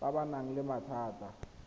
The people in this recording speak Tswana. ba ba nang le mathata